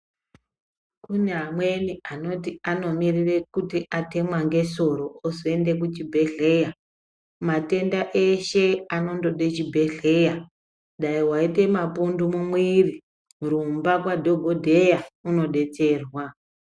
Kune amweni anoti anomirire kuti atemwa ngesoro oende kuchibhedhleya. Matenda ashe anondode chibhedhleya dai vaite mapundu mumwiri rumba kwadhogodheya undobetserwa.